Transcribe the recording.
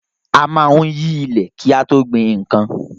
A maá ń yí ilẹ̀ kí a tó gbin nkan